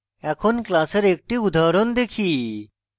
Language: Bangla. এখন class এর একটি উদাহরণ দেখি